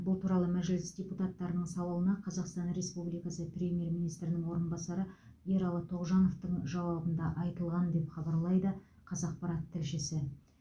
бұл туралы мәжіліс депутаттарының сауалына қазақстан республикасы премьер министрінің орынбасары ералы тоғжановтың жауабында айтылған деп хабарлайды қазақпарат тілшісі